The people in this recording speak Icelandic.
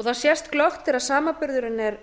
það sést glöggt þegar samanburðurinn er